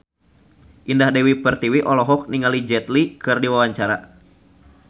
Indah Dewi Pertiwi olohok ningali Jet Li keur diwawancara